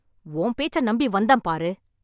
உன் பேச்சை நம்பி வந்தேன் பாரு...